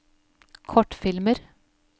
kortfilmer